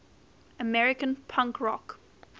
american punk rock